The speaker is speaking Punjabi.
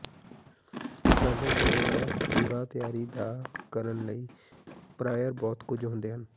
ਸਾਡੇ ਭੋਜਨ ਦਾ ਪੂਰਾ ਤਿਆਰੀ ਦਾ ਕਰਨ ਲਈ ਪ੍ਰਾਇਰ ਬਹੁਤ ਕੁਝ ਹੁੰਦੇ ਹਨ